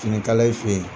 Finikala in fe yen